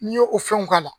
N'i y'o fɛnw k'a la